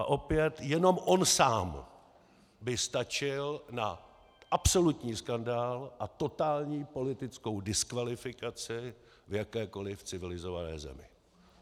A opět jenom on sám by stačil na absolutní skandál a totální politickou diskvalifikaci v jakékoliv civilizované zemi.